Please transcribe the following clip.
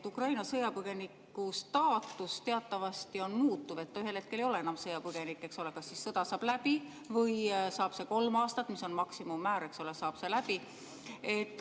Ukraina sõjapõgeniku staatus teatavasti on muutuv, ta ühel hetkel ei ole enam sõjapõgenik, eks ole, sest kas sõda saab läbi või see kolm aastat, mis on maksimummäär, saab läbi.